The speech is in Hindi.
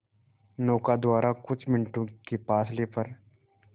नौका द्वारा कुछ मिनटों के फासले पर